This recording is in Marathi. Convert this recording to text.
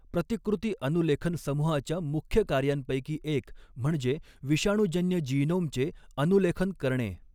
प्रतिकृती अनुलेखन समूहाच्या मुख्य कार्यांपैकी एक म्हणजे विषाणूजन्य जीनोमचे अनुलेखन करणे.